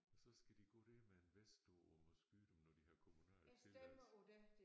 Og så skal de gå der med en vest på og må skyde dem når de har kommunal tilladelse